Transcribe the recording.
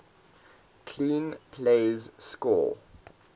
clean plays score